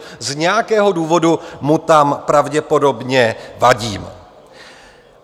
Z nějakého důvodu mu tam pravděpodobně vadím.